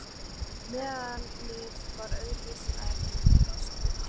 Meðalið var öðru vísi en aðrar mixtúrur.